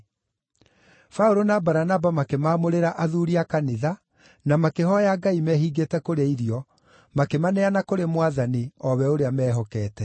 Paũlũ na Baranaba makĩmaamũrĩra athuuri a kanitha na makĩhooya Ngai mehingĩte kũrĩa irio, makĩmaneana kũrĩ Mwathani, o we ũrĩa meehokete.